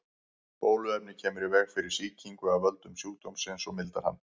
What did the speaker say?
Bóluefnið kemur í veg fyrir sýkingu af völdum sjúkdómsins og mildar hann.